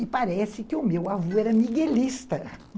E parece que o meu avô era miguelista